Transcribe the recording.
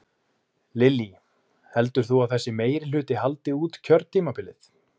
Lillý: Heldur þú að þessi meirihluti haldi út kjörtímabilið?